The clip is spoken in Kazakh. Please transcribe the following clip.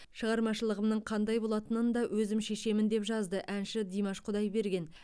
шығармашылығымның қандай болатынын да өзім шешемін деп жазды әнші димаш құдайберген